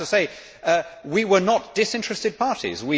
I have to say we were not disinterested parties.